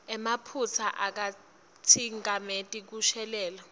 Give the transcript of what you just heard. emaphutsa akatsikameti kushelela